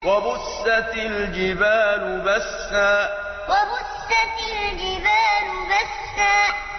وَبُسَّتِ الْجِبَالُ بَسًّا وَبُسَّتِ الْجِبَالُ بَسًّا